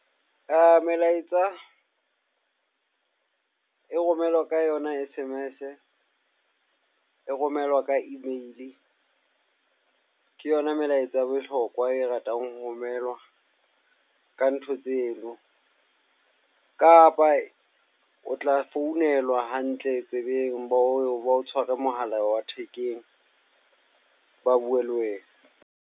Melaetsa e romelwa ka yona S_M_S. E romelwa ka email, ke yona melaetsa ya bohlokwa e ratang ho romelwa ka ntho tseno. Kapa o tla founelwa hantle tsebeng. Ba o tshware mohala wa thekeng, ba bue le wena.